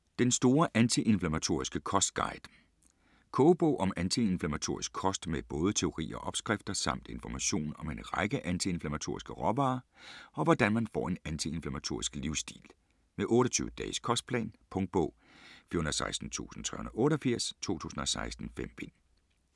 Den store antiinflammatoriske kostguide Kogebog om antiinflammatorisk kost med både teori og opskrifter; samt information om en række antiinflammatoriske råvarer og om hvordan man får en antiinflammatorisk livsstil. Med 28-dages kostplan. Punktbog 416388 2016. 5 bind.